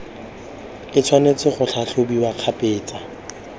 e tshwanetse go tlhatlhobiwa kgabetsa